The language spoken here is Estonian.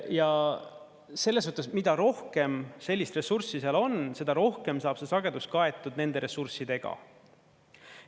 Ja sellessuhtes, mida rohkem sellist ressurssi seal on, seda rohkem saab see sagedus kaetud nende ressurssidega.